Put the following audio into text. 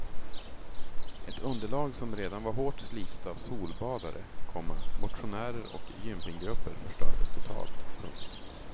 Ett underlag som redan var hårt slitet av solbadare, komma motionärer och gympinggrupper förstördes totalt. punkt